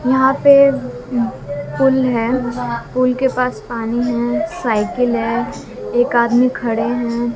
यहां पे पुल है पुल के पास पानी है साइकिल है एक आदमी खड़े हैं।